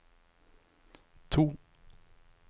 to